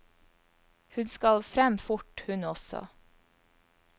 Hun skal frem fort, hun også.